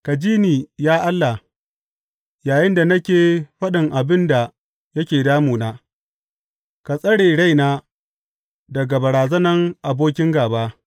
Ka ji ni, ya Allah, yayinda nake faɗin abin da yake damuna; ka tsare raina daga barazanan abokin gāba.